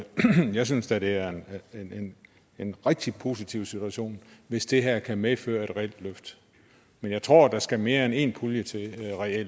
jeg synes da det er en rigtig positiv situation hvis det her kan medføre et reelt løft men jeg tror oprigtigt at der skal mere end en pulje til